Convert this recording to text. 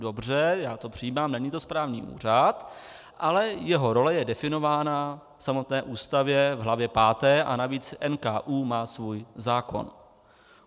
Dobře, já to přijímám, není to správní úřad, ale jeho role je definována v samotné Ústavě v hlavně páté a navíc NKÚ má svůj zákon.